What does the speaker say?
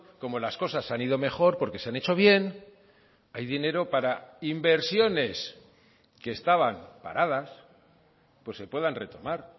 como las cosas han ido mejor porque se han hecho bien hay dinero para inversiones que estaban paradas pues se puedan retomar